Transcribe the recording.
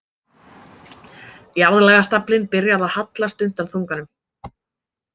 Jarðlagastaflinn byrjar að hallast undan þunganum.